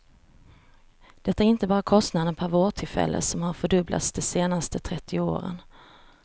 Det är inte bara kostnaden per vårdtillfälle som har fördubblats de senaste trettio åren.